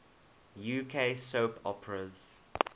uk soap operas